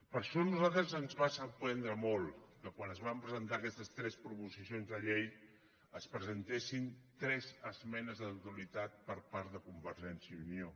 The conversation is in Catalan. per això a nosaltres ens va sorprendre molt que quan es van presentar aquestes tres proposicions de llei s’hi presentessin tres esmenes a la totalitat per part de convergència i unió